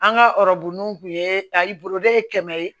An ka ɔrɔbonnunw kun ye ta i boloda ye kɛmɛ ye